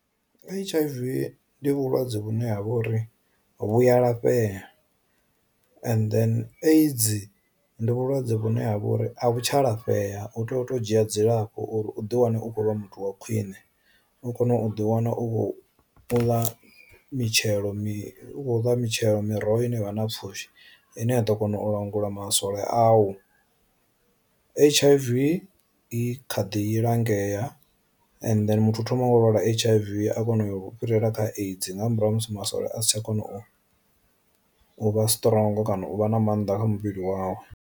H_I_V ndi vhulwadze vhune ha vha uri vhuya lafhea, and then aids ndi vhulwadze vhune ha vha uri a vhu tsha lafhea u tea u to dzhia dzilafho uḓi wane ukho vha muthu wa khwiṋe u kone u ḓi wana u khou ḽa mitshelo mitshelo mitshelo miroho i ne vha na pfushi ine a ḓo kona u langula maswole a u. H_I_V i kha ḓi lingea and muthu thoma nga u lwala H_I_V a kona u fhirela kha aids nga murahu ha musi masole a si tsha kona u u vha strongo kana u vha na mannḓa kha muvhili wawu.